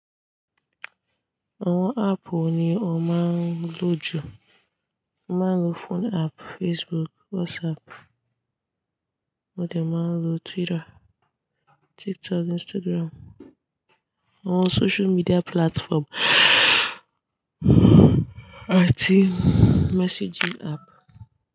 Àwon app wo ni o máa ń lò jù? Máa ń lo phone app, Facebook, WhatsApp, mo dẹ̀ máa ń lo Twitter, TikTok, Instagram, àwon social media platform àti messaging app.